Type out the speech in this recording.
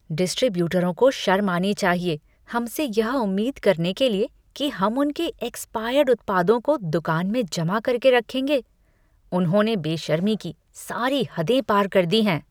डिस्ट्रीब्यूटरों को शर्म आनी चाहिए हमसे यह उम्मीद करने के लिए कि हम उनके एक्सपायर्ड उत्पादों को दुकान में जमा करके रखेंगे। उन्होंने बेशर्मी की सारी हदें पार कर दी हैं।